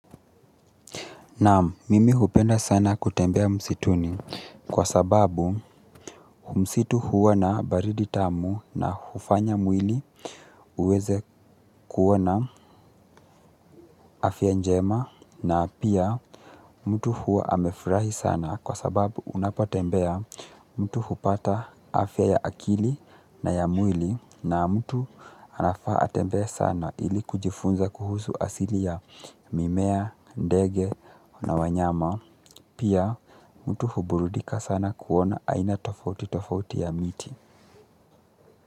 Naam mimi hupenda sana kutembea msituni kwa sababu msitu huwa na baridi tamu na hufanya mwili uweze kuwa na afya njema na pia mtu huwa amefurahi sana kwa sababu unapotembea mtu hupata afya ya akili na ya mwili na mtu anafaa atembee sana ili kujifunza kuhusu asili ya mimea, ndege na wanyama. Pia mtu huburudika sana kuona haina tofauti tofauti ya miti.